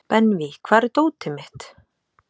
Benvý, hvar er dótið mitt?